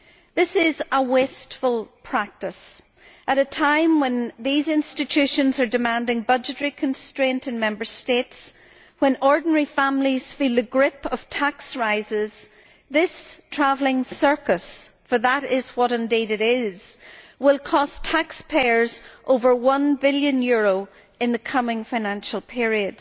This is a wasteful practice at a time when these institutions are demanding budgetary constraint in the Member States. With ordinary families feeling the grip of tax increases, this travelling circus for that is indeed what it is will cost taxpayers over EUR 1 billion in the coming financial period.